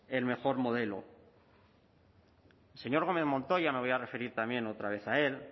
el mejor modelo el señor gómez montoya me voy a referir también otra vez a él